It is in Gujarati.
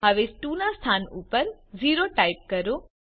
હવે 2 ના સ્થાન ઉપર 0 ટાઇપ કરો